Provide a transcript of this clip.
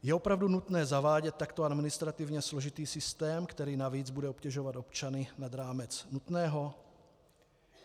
Je opravdu nutné zavádět takto administrativně složitý systém, který navíc bude obtěžovat občany, nad rámec nutného?